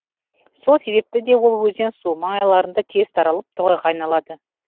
сол себепті де ол өзен су маңайларында тез таралып тоғайға айналады